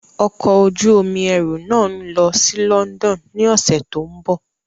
Ọkọ̀ ojú omi ẹrù náà ń lọ sí London ní ọ̀sẹ̀ tó ń bọ̀.